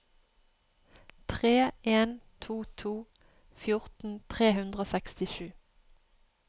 tre en to to fjorten tre hundre og sekstisju